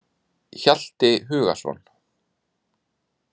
Hjalti Hugason.